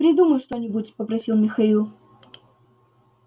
придумай что-нибудь попросил михаил